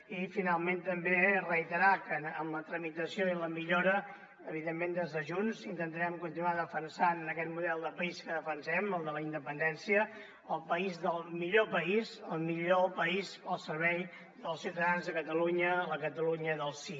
i finalment també reiterar que amb la tramitació i la millora evidentment des de junts intentarem continuar defensant aquest model de país que defensem el de la independència el millor país el millor país al servei dels ciutadans de catalunya la catalunya del sí